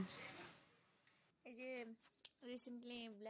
এই যে recently